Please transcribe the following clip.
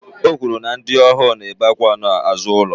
O kwuru na ndị ohu na-ebe akwa n'azụ ụlọ